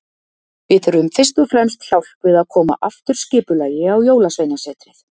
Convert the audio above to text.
Við þurfum fyrst og fremst hjálp við að koma aftur skipulagi á Jólasveinasetrið.